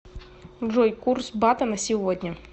джой курс бата на сегодня